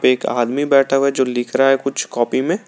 एक आदमी बैठा हुआ है जो लिख रहा है कुछ कॉपी में।